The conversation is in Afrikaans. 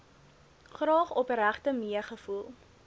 graag opregte meegevoel